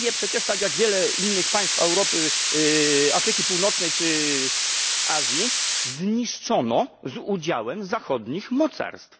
Libię, przecież tak jak wiele innych państw Europy, Afryki Północnej czy Azji, zniszczono z udziałem zachodnich mocarstw.